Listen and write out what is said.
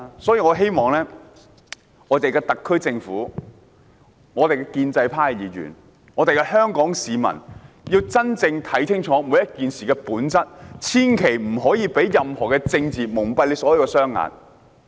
所以，我希望特區政府、建制派議員和香港市民要認真看清楚每件事的本質，千萬不能被政治蒙蔽雙眼。